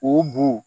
O bun